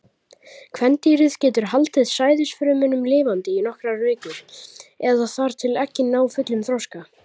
Kvendýrið getur haldið sæðisfrumunum lifandi í nokkrar vikur, eða þar til eggin ná fullum þroska.